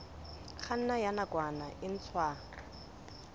kganna ya nakwana e ntshwa